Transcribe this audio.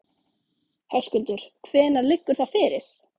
Höskuldur: Hvenær liggur það fyrir?